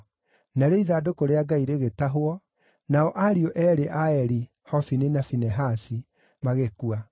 Narĩo ithandũkũ rĩa Ngai rĩgĩtahwo, nao ariũ eerĩ a Eli, Hofini na Finehasi, magĩkua.